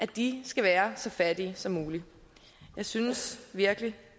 de skal være så fattige som muligt jeg synes virkelig